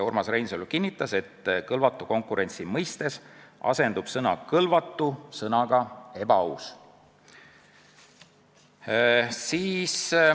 Urmas Reinsalu kinnitas, et kõlvatu konkurentsi mõistes asendub sõna "kõlvatu" sõnaga "ebaaus".